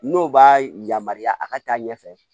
N'o b'a yamaruya a ka taa ɲɛfɛ